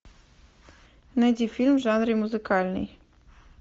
найди фильм в жанре музыкальный